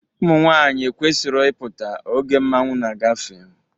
Ụmụnwaanyị ekwesiro ịpụta oge mmanwụ na-agafe.